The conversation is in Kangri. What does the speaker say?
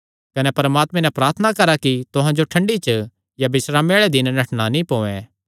कने प्रार्थना करा कि तुहां जो ठंडी च या बिस्रामे आल़े दिन नठणा नीं पोयैं